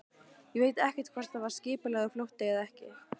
Ég veit ekkert hvort það var skipulagður flótti eða ekki.